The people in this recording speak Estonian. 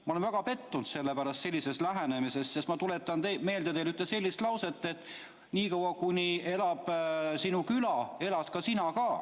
Ma olen väga pettunud selle pärast, sellises lähenemises, sest ma tuletan teile meelde ühte lauset, et niikaua kuni elab sinu küla, elad sina ka.